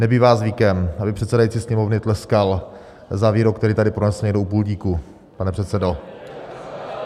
Nebývá zvykem, aby předsedající Sněmovny tleskal za výrok, který tady pronesl někdo u pultíku, pane předsedo.